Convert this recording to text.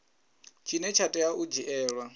tshine tsha tea u dzhielwa